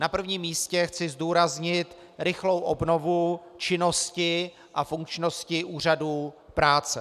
Na prvním místě chci zdůraznit rychlou obnovu činnosti a funkčnosti úřadů práce.